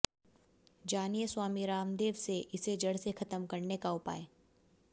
जानिए स्वामी रामदेव से इसे जड़ से खत्म करने का उपाय